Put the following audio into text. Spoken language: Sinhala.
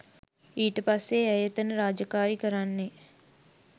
ඊට පස්සෙ ඇය එතන රාජකාරී කරන්නේ